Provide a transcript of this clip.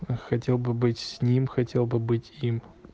а хотел бы быть с ним хотел бы быть им